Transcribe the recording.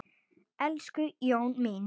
Elsku Jóna mín.